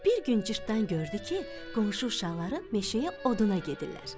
Bir gün cırtdan gördü ki, qonşu uşaqları meşəyə oduna gedirlər.